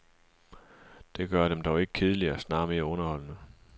Det gør dem dog ikke kedeligere, snarere mere underholdende.